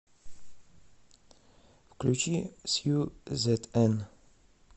включи сью зэтэн